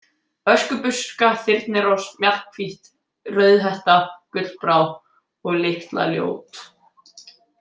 Öskubuska, Þyrnirós, Mjallhvít, Rauðhetta, Gullbrá- og Litla-Ljót.